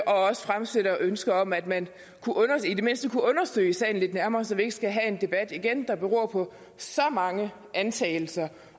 også fremsætter ønske om at man i det mindste kunne undersøge sagen lidt nærmere så vi ikke skal have en debat igen som beror på så mange antagelser